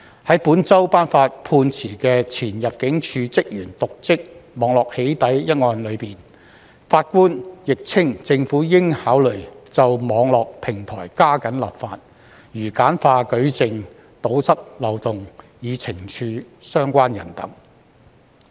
在本周判決的前入境事務處職員瀆職網絡"起底"一案中，法官亦稱政府應考慮就網絡平台加緊立法，如簡化舉證，堵塞漏洞，以懲處相關人士等。